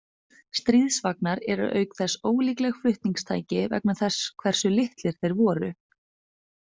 Stríðsvagnar eru auk þess ólíkleg flutningstæki vegna þess hversu litlir þeir voru.